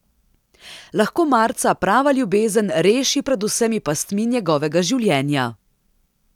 Lahko marca prava ljubezen reši pred vsemi pastmi njegovega življenja?